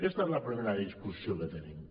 aquesta és la prime·ra discussió que tenim